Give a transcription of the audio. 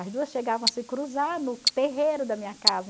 As duas chegavam a se cruzar no terreiro da minha casa.